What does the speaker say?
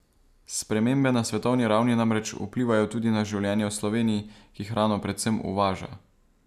Spremembe na svetovni ravni namreč vplivajo tudi na življenje v Sloveniji, ki hrano predvsem uvaža.